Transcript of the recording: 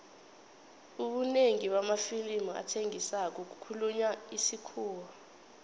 ubunengi bamafilimu athengisako kukhulunywa isikhuwa